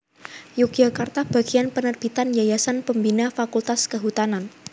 Yogyakarta Bagian Penerbitan Yayasan Pembina Fakultas Kehutanan